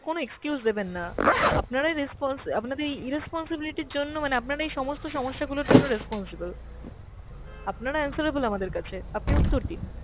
কোন excuse দেবেন না, আপনারা response, আপনাদের এই irresponsibility র জন্য মানে আপনার এই সমস্ত সমস্যা গুলোর জন্য responsible । আপনারা answerable আমাদের কাছে, আপনি উত্তর দিন।